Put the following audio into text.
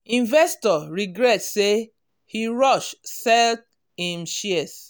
investor regret say e rush sell him shares.